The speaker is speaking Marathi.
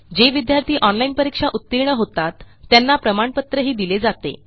जे विद्यार्थी ऑनलाईन परीक्षा उत्तीर्ण होतात त्यांना प्रमाणपत्रही दिले जाते